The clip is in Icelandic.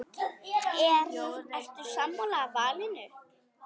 Ertu sammála valinu?